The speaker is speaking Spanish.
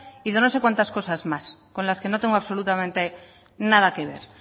y de no sé cuanto cosas más con las que no tengo absolutamente nada que ver